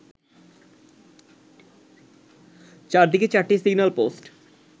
চার দিকে চারটি সিগন্যাল পোস্ট